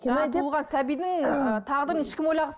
сәбидің тағдырын ешқайсысы